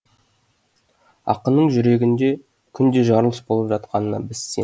ақынның жүрегінде күнде жарылыс болып жатқанына біз сен